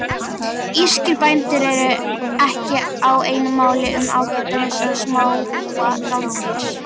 Írskir bændur eru ekki á einu máli um ágæti þessa smáa rándýrs.